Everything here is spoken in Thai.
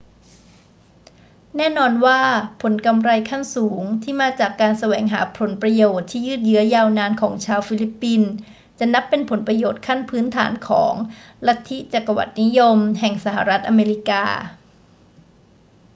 แน่นอนว่า ผลกำไรขั้นสูงที่มาจากการแสวงหาผลประโยชน์ที่ยืดเยื้อยาวนานของชาวฟิลิปปินส์จะนับเป็นผลประโยชน์ขั้นพื้นฐานของลัทธิจักรวรรดินิยมแห่งสหรัฐอเมริกา